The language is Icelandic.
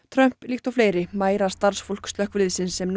Trump líkt og fleiri mæra starfsfólk slökkviliðsins sem